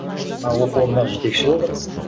оқу орнында жетекші болдық